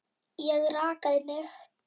Ég rakaði mig.